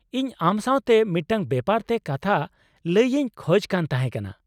ᱤᱧ ᱟᱢ ᱥᱟᱶᱛᱮ ᱢᱤᱫᱴᱟᱝ ᱵᱮᱯᱟᱨ ᱛᱮ ᱠᱟᱛᱷᱟ ᱞᱟᱹᱭ ᱤᱧ ᱠᱷᱚᱡ ᱠᱟᱱ ᱛᱟᱦᱮᱸ ᱠᱟᱱᱟ ᱾